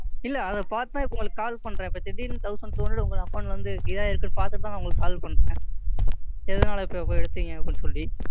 இல்லை அதைப் பாத்து தான் இப்ப உங்களுக்கு Call பண்றேன். இப்ப திடீர்னு Thousand two hundred உங்க Account ல இருந்து இதாயிருக்குன்னு பாத்துட்டு தான் உங்களுக்கு Call பண்றேன். எதனால இப்ப இப்ப எடுத்தீங்கன்னு?